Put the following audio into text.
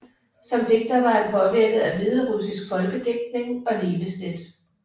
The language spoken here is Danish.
Som digter var han påvirket af hviderussisk folkedigtning og levesæt